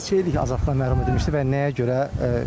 Neçə il azadlıqdan məhrum edilmişdi və nəyə görə?